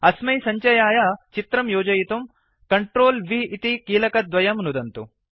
अस्मै सञ्चयाय चित्रं योजयितुं CTRL V इति कीलकद्वयं नुदन्तु